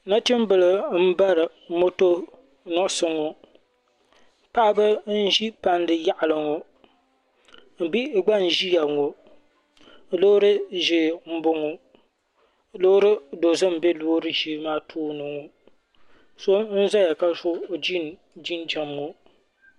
Nachimbila m bari moto nuɣuso ŋɔ paɣaba n ʒi palli yaɣali ŋɔ bihi gba n ʒia ŋɔ loori ʒee m boŋɔ loori dozim m be loori ʒee maa tooni ŋɔ so n zaya ka so jin jinjiɛm ŋɔ.